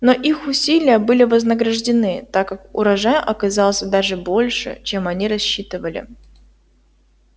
но их усилия были вознаграждены так как урожай оказался даже больше чем они рассчитывали